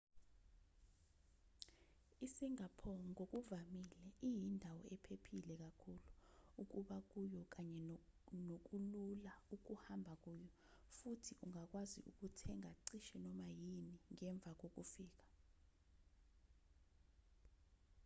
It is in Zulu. i-singapore ngokuvamile iyindawo ephephile kakhulu ukuba kuyo kanye nokulula ukuhamba kuyo futhi ungakwazi ukuthenga cishe noma yini ngemva kokufika